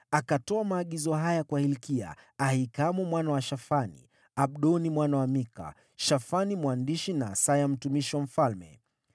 Akatoa maagizo haya kwa Hilkia, Ahikamu mwana wa Shafani, Abdoni mwana wa Mika, Shafani mwandishi na Asaya mtumishi wa mfalme,